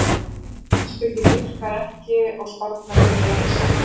Stjörnuspeki virkar ekki og spárnar eru því ekki sannar.